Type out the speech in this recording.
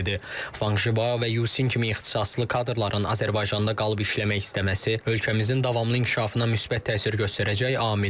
Vanq Jibao və Yucin kimi ixtisaslı kadrların Azərbaycanda qalıb işləmək istəməsi ölkəmizin davamlı inkişafına müsbət təsir göstərəcək amildir.